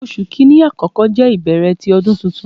Oṣu Kini akọkọ jẹ ibẹrẹ ti Ọdun Tuntun